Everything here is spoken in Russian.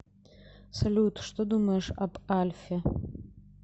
салют что думаешь об альфе